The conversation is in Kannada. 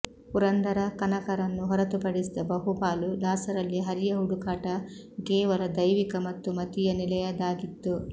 ಪುರಂದರ ಕನಕರನ್ನು ಹೊರತು ಪಡಿಸಿದ ಬಹುಪಾಲು ದಾಸರಲ್ಲಿ ಹರಿಯ ಹುಡುಕಾಟ ಕೇವಲ ದೈವಿಕ ಮತ್ತು ಮತೀಯ ನೆಲೆಯದಾಗಿತ್ತು